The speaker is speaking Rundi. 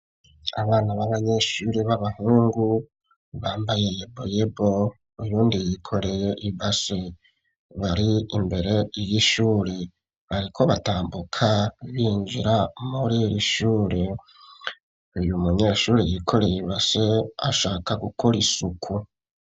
Abana b'abanyeshuri b'abahungu bambaye yeboyebo uyundi yikoreye ibase bari imbere y'ishure bariko batambuka binjira muri shure uyu munyeshuri yikoreye ibase ashaka gukora isuku